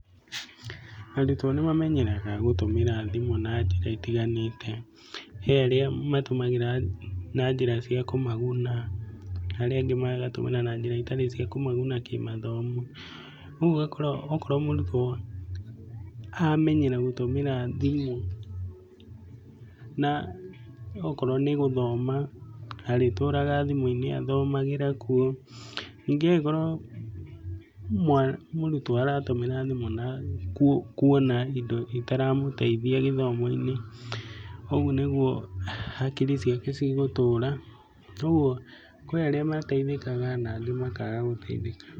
Arutwo nĩ mamenyerega gũtũmĩra thimũ na njĩra itiganĩte, he arĩa matũmagĩra na njĩra cia kũmaguna, arĩa angĩ magatumĩra na njĩra itarĩ cia kũmaguna kĩ mathomo. Ũguo ũgakora okorwo mũrutwo amenyera gũtumĩra thimũ na okorwo nĩ gũthoma, arĩtũraga thimũ-inĩ athomagĩra kuo. Ningĩ akorwo mũrutwo aratũmĩra thimũ na kuona indo itaramũteithia gĩthomo-inĩ ũguo nĩ guo hakiri ciake cigũtũra. Toguo kwĩ arĩa mateithĩkaga na angĩ makaga gũteithĩka.